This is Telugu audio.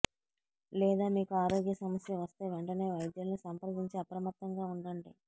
లేదా మీకు ఆరోగ్య సమస్య వస్తే వెంటనే వైద్యున్ని సంప్రదించి అప్రమత్తంగా ఉండండి